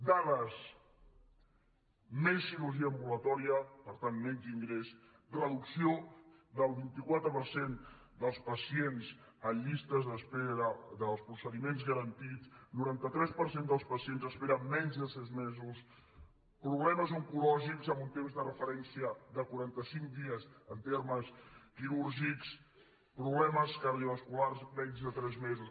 dades més cirurgia ambulatòria per tant menys ingrés reducció del vint quatre per cent dels pacients en llistes d’espera dels procediments garantits noranta tres per cent dels pacients esperen menys de sis mesos problemes oncològics amb un temps de referència de quaranta cinc dies en termes quirúrgics problemes cardiovasculars menys de tres mesos